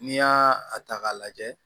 N'i y'a ta k'a lajɛ